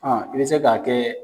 Ɔn i bi se ka kɛ.